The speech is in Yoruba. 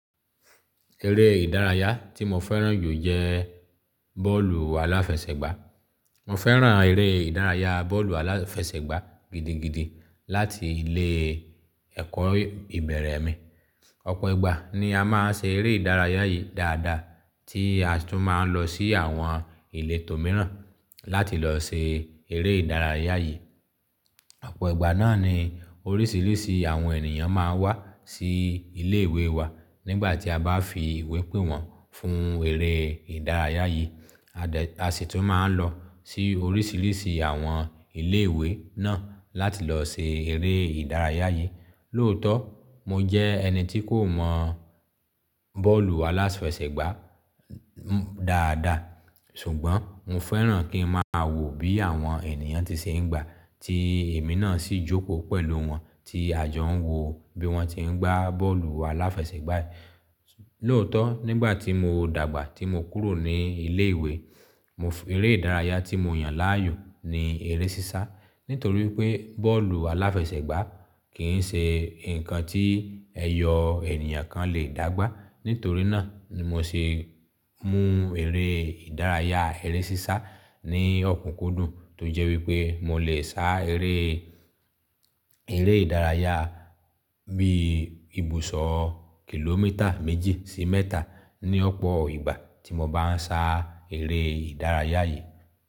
Eré ìdárayá tí mo fẹ́ràn jù jẹ bọ́ọ̀lù aláfẹsẹ̀gbá. Mo fẹ́ràn eré ìdárayá bọ́ọ̀lù aláfẹsẹ̀gbá gidigidi láti ilé ẹ̀kọ́ ìbẹ̀rẹ̀ mi. Ọ̀pọ̀ ìgbà ni a máa ń ṣe eré ìdárayá yìí dáadáa, tí a tún máa ń lọ sí àwọn ìletò tò míràn láti lọ ṣe eré ìdárayá yìí. Ọ̀pọ̀ ìgbà náà ni oríṣiríṣi àwọn ènìyàn máa ń wá sí ilé ìwé wa nígbà tí a bá fi ìwé pé wọ́n fún eré ìdárayá yìí. A dé, a sì tún máa ń lọ sí oríṣiríṣi àwọn ilé ìwé náà láti lọ ṣe eré ìdárayá yìí. Lóòótọ́, mo jẹ́ ẹni tí kò mọ bọ́ọ̀lù aláfẹsẹ̀gbá dáadáa, ṣùgbọ́n mo fẹ́ràn kí n máa wò bí àwọn ènìyàn ti ṣe ń gbá, tí èmi náà sì jókòó pẹ̀lú wọn tí àjọ ń wò bí wọ́n ti ń gbá bọ́ọ̀lù aláfẹsẹ̀gbá yìí. Lóòótọ́, nígbà tí mo dàgbà tí mo kúrò ní ilé ìwé, mo eré ìdárayá tí mo yàn láàyò ni eré sísá. Nítorí pé bọ́ọ̀lù aláfẹsẹ̀gbá kì í ṣe nǹkan tí ẹyọ ènìyàn kan lè dàgbà. Nítorí náà ni mo ṣe mú eré ìdárayá, eré sísá ní ọ̀kúnkúndùn tó jẹ́ wípé mo lè sá eré, eré ìdárayá bí ibùsọ̀ kìlómítà méjì sí mẹ́ta ní ọ̀pọ̀ ìgbà tí mo bá ń sá eré ìdárayá yìí.